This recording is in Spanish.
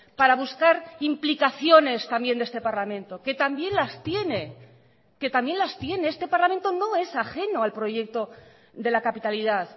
para buscar implicaciones también de este parlamento que también las tiene que también las tiene este parlamento no es ajeno al proyecto de la capitalidad